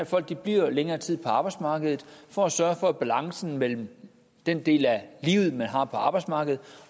folk bliver længere tid på arbejdsmarkedet for at sørge for at balancen mellem den del af livet man har på arbejdsmarkedet